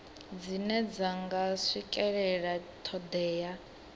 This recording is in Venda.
dzine dza nga swikelela thodea